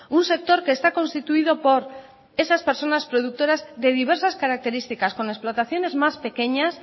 un sector que está constituido por esas personas productoras de diversas características con explotaciones más pequeñas